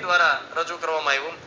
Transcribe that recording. દ્વારા રજુ કરવામાં આવ્યું